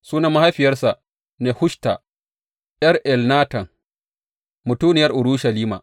Sunan mahaifiyarsa Nehushta ’yar Elnatan, mutuniyar Urushalima.